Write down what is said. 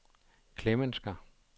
Klemensker